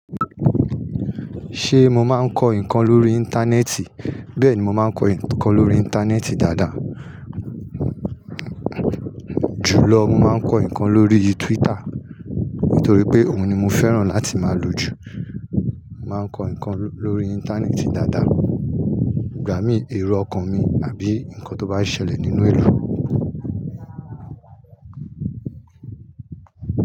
Ṣé mo máa ń kọ nǹkan lórí Íńtánẹ́ẹ̀tì? Bẹ́ẹ̀ni, mo máa ń kọ nǹkan lórí Íńtánẹ́ẹ̀tì dáadáa. Jùlọ, mo máa ń kọ nǹkan lóríi túwítà nítorí pé òun ni mo fẹ́ràn láti máa lò jù. Mo máa ń kọ nǹkan lórí Íńtánẹ́ẹ̀tì dáadáa, ìgbà mí èrò ọkàn mi àbí nǹkan tó bá ń ṣẹlẹ̀ nínú ìlú.